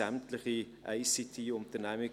Dort sind sämtliche ICT-Unternehmen,